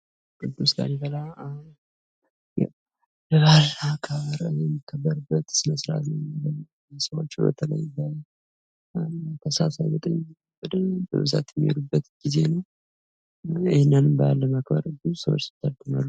የቅዱስ ላሊበላ የበዓለ አከባበር የሚከበርበት ስነ-ስእራት ነው ቱሪስቶች በተላይ ትህሳስ ሃያ ዘጠኝ በደንብ በብዛት የሚሄዱበት ጊዜ ነው ::ይህንንም በዓል ለማክበር ብዙ ሰዎች ይታደማሉ ::